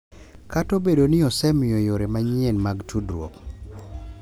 Kata obedo ni osemiyo yore manyien mag tudruok,